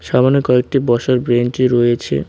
সামনে কয়েকটি বসার বেঞ্চি রয়েছে।